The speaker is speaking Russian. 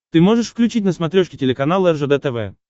ты можешь включить на смотрешке телеканал ржд тв